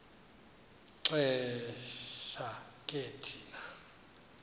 xesha ke thina